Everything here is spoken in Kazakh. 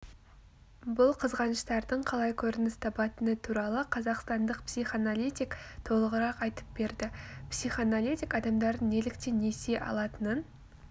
бұл қызғаныштардың қалай көрініс табатыны туралы қазақстандық психоаналитик толығырақ айтып берді психоаналитик адамдардың неліктен несие алатынын